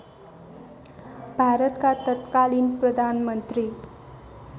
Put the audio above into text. भारतका तत्कालिन प्रधानमन्त्री